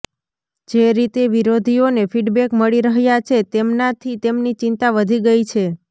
જે રીતે વિરોધીઓને ફિડબેક મળી રહ્યા છે તેમનાથી તેમની ચિંતા વધી ગઈ છે